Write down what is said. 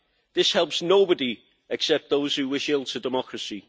This helps nobody except those who wish ill to democracy.